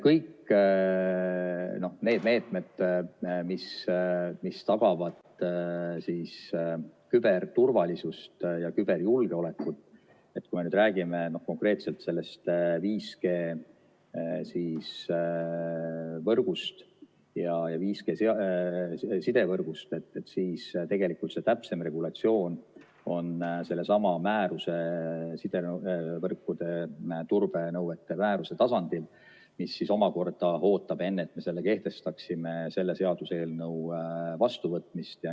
Kõik need meetmed, mis tagavad küberturvalisust ja küberjulgeolekut, kui me nüüd räägime konkreetselt sellest 5G-sidevõrgust, siis tegelikult see täpsem regulatsioon on sellesama määruse, sidevõrkude turbenõuete määruse tasandil, mis omakorda ootab, et me kehtestaksime selle enne selle seaduse eelnõu vastuvõtmist.